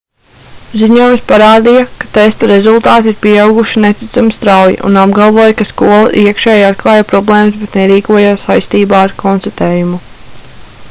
ziņojums parādīja ka testa rezultāti ir pieauguši neticami strauji un apgalvoja ka skola iekšēji atklāja problēmas bet nerīkojās saistībā ar konstatējumu